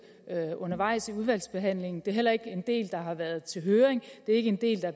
undervejs i udvalgsbehandlingen det er heller ikke en del der har været til høring og det er ikke en del der